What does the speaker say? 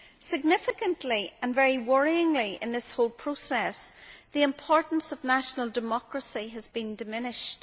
Significantly and very worryingly in this whole process, the importance of national democracy has been diminished.